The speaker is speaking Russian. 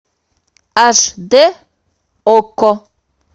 аш дэ окко